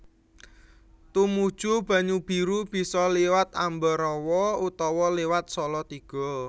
Tumuju Banyubiru bisa liwat Ambarawa utawa liwat Salatiga